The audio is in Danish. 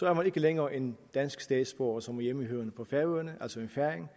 er man ikke længere en dansk statsborger som er hjemmehørende på færøerne altså en færing